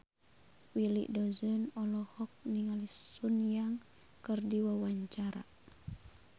Willy Dozan olohok ningali Sun Yang keur diwawancara